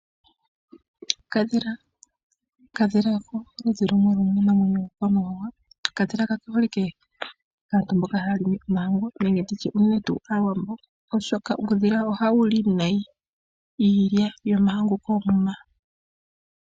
Okadhila Okadhila oko oludhi lumwe lwomiinamwenyo yiikwamawawa. Okadhila kake holike kaantu mboka haya limi omahangu nenge ndi tye Aawambo, oshoka uudhila ohawu li nayi iilya yomahangu koomuma.